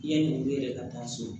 Yanni olu yɛrɛ ka taa so